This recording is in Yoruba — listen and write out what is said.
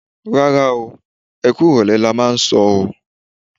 Rárá o, ẹ kú ìrọ̀lẹ́ lo máa sọ o.